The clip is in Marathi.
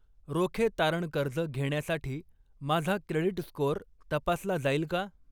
रोखे तारण कर्ज घेण्यासाठी माझा क्रेडिट स्कोअर तपासला जाईल का?